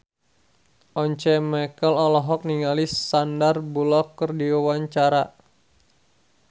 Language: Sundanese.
Once Mekel olohok ningali Sandar Bullock keur diwawancara